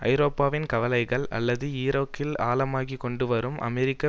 ஐரோப்பாவின் கவலைகள் அல்லது ஈராக்கில் ஆழமாகிக்கொண்டு வரும் அமெரிக்க